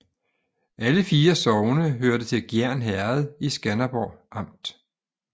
Alle 4 sogne hørte til Gjern Herred i Skanderborg Amt